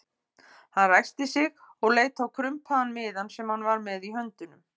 Hann ræskti sig og leit á krumpaðan miðann sem hann var með í höndunum.